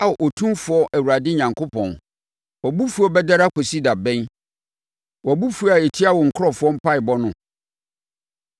Ao Otumfoɔ Awurade Onyankopɔn, wʼabofuo bɛdɛre akɔsi da bɛn wʼabofuo a ɛtia wo nkurɔfoɔ mpaeɛbɔ no?